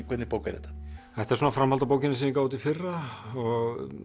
hvernig bók er þetta þetta er framhald af bókinni sem ég gaf út í fyrra og